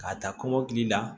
K'a ta kɔmɔkili la